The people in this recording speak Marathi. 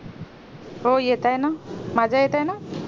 हो येतोय ना माझा येतोय ना